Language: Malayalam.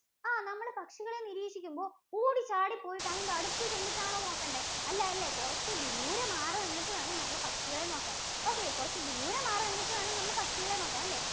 ആഹ് നമ്മള് പക്ഷികളെ നിരീക്ഷിക്കുമ്പോ ഓടി ചാടി പോയിട്ട് അയിന്‍റെ അടുത്ത് ചെന്നിട്ടാണോ നോക്കണ്ടേ. അല്ല അല്ലേ? കുറച്ച് ദൂരേ മാറി നിന്നിട്ട് വേണം നമ്മൾ പക്ഷികളെ നോക്കാൻ. okay കുറച്ച് ദൂരെ മാറി നിന്നിട്ട് വേണം നമ്മൾ പക്ഷികളെ നോക്കാൻ അല്ലേ.